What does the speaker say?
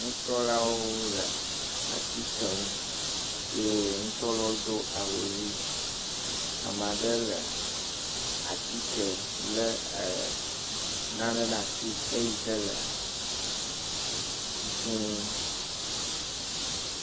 Nusrɔ̃lawo le atike nu ye nusrɔ̃lawo do awu ʋi. ame aɖe le atike le e nane ɖe asi eye xe le dzi.